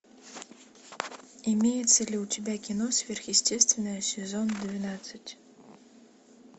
имеется ли у тебя кино сверхъестественное сезон двенадцать